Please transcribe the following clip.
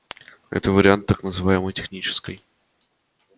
это вариант так называемой технической